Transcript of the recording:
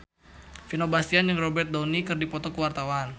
Vino Bastian jeung Robert Downey keur dipoto ku wartawan